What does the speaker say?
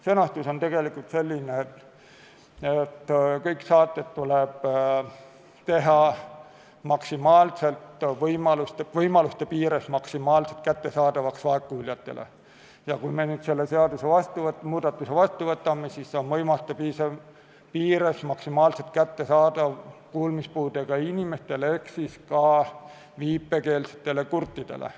Sõnastus on tegelikult selline, et kõik saated tuleb teha võimaluste piires maksimaalselt kättesaadavaks vaegkuuljatele, ning kui me selle seadusemuudatuse vastu võtame, siis võimaluste piires maksimaalselt kättesaadavaks kuulmispuudega inimestele ehk ka viipekeelsetele kurtidele.